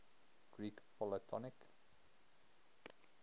greek polytonic